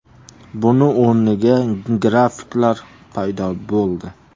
Buning o‘rniga grafiklar paydo bo‘ldi.